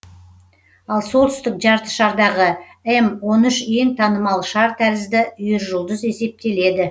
ал солтүстік жартышардағы эм он үш ең танымал шар тәрізді үйіржұлдыз есептеледі